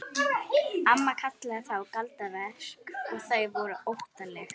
Amma kallaði þá galdraverk og þau voru óttaleg.